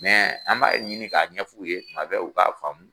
an b'a ɲini k'a ɲɛf'u ye tuma bɛɛ u k'a faamu.